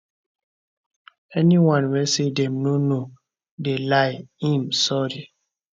anyone wey say dem no know dey lie im sorry